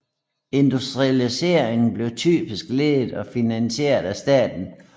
Industrialiseringen blev typisk ledet og finansieret af staten